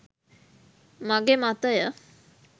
මගේ මතය.